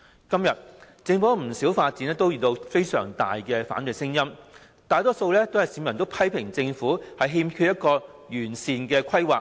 今天，政府不少發展項目遇到強烈的反對聲音，大多數市民批評政府欠缺完善規劃。